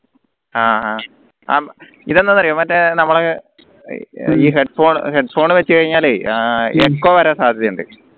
ആഹ് അഹ് അഹ് ഇതെന്താറിയോ മറ്റേ നമ്മളെ headphone വെച്ച് കഴിഞ്ഞാല് അഹ് echo വരാൻ സാധ്യതയുണ്ട്